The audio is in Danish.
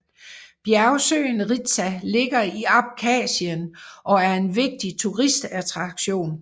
Bjergsøen Ritsa ligger i Abkhasien og er en vigtig turistattraktion